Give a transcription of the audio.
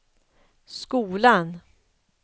skolan